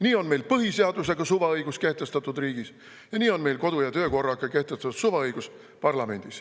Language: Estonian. Nii ongi meil riigis põhiseadusega kehtestatud suvaõigus ja nii ongi meil parlamendis kodu‑ ja töökorraga kehtestatud suvaõigus.